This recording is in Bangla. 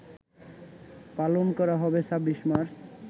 পালন করা হবে ২৬ মার্চ